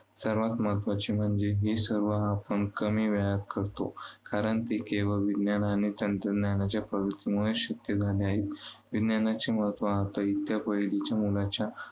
सर्वांत महत्त्वाचं म्हणजे हे सर्व आपण कमी वेळात करतो. कारण ते केवळ विज्ञान आणि तंत्रज्ञानाच्या प्रगतीमुळे शक्य झाले आहे. विज्ञानाचे महत्त्व आता पहिलीच्या मुलाच्या